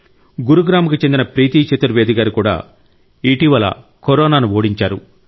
గురుగ్రామ్కు చెందిన ప్రీతి చతుర్వేది గారు కూడా ఇటీవల కరోనాను ఓడించారు